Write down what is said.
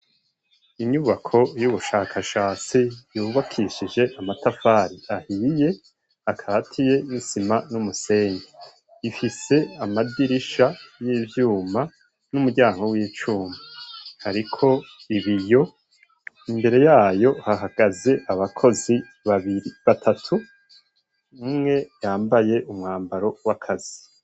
Inyubako y'ubushakashatsi yubakishije amatafari ahiye akatiye n'isima n'umusenyi. Ifise amadirisha y'ivyuma n'umuryango w'icuma. Hariko ibiyo imbere yaho hahagaze abakozi babiri batatu, umwe yambaye umwambaro w'akazi.